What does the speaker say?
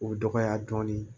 O dɔgɔya dɔɔnin